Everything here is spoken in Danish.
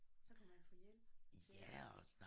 Så kunne man få hjælp til at